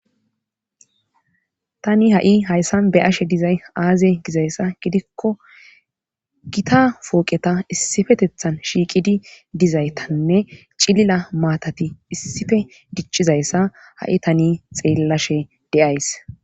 Tani ha'i hayssan be ashe dizay aaze gizayssa gidikko gita fooqeta issifetethan shiiqidi dizaytanne cilila maatati issife dichizayssa ha'i tani xeellashe deyays.